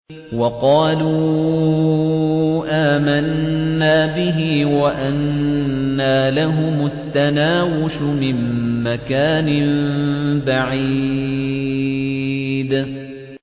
وَقَالُوا آمَنَّا بِهِ وَأَنَّىٰ لَهُمُ التَّنَاوُشُ مِن مَّكَانٍ بَعِيدٍ